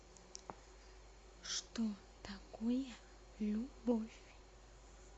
что такое любовь